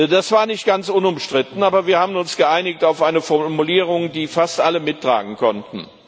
Das war nicht ganz unumstritten, aber wir haben uns geeinigt auf eine Formulierung, die fast alle mittragen konnten.